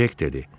Cek dedi.